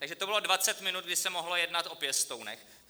Takže to bylo 20 minut, kdy se mohlo jednat o pěstounech.